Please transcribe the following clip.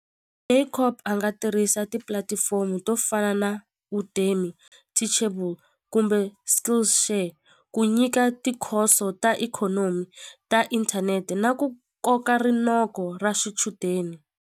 a nga tirhisa tipulatifomo to fana na teachable kumbe skillls share ku nyika tikhoso ta ikhonomi ta inthanete na ku koka rinoko ra swichudeni.